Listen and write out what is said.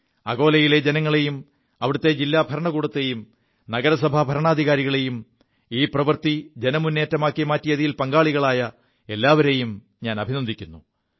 അകോലയിലെ ജനങ്ങളെയും അവിടത്തെ ജില്ലാ ഭരണകൂടത്തെയും നഗരസഭാ ഭരണാധികാരികളെയും ഈ പ്രവൃത്തി ജനമുേറ്റമാക്കി മാറ്റിയതിൽ പങ്കാളികളായ എല്ലാവരെയും അഭിനന്ദിക്കുു